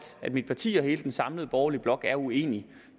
mit parti og hele den samlede borgerlige blok er uenige